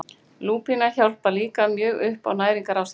Lúpína hjálpar líka mjög upp á næringarástandið.